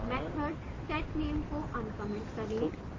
method setname को uncomment करें